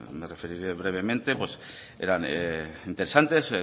me referiré brevemente eran interesantes